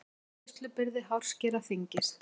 Greiðslubyrði hárskera þyngist